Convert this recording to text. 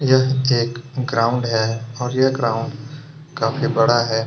यह एक ग्राउंड है और यह ग्राउंड काफी बड़ा है।